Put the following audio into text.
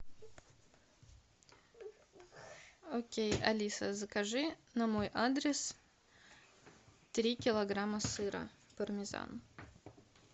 окей алиса закажи на мой адрес три килограмма сыра пармезан